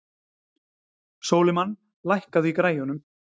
Sólimann, lækkaðu í græjunum.